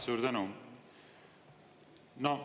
Suur tänu!